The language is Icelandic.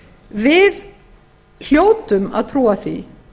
við hljótum að trúa því